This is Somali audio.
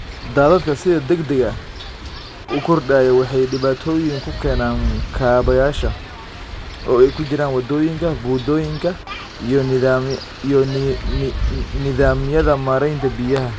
Daadadka sida degdega ah u kordhaya waxay dhibaatooyin ku keenaan kaabayaasha, oo ay ku jiraan waddooyinka, buundooyinka, iyo nidaamyada maaraynta biyaha.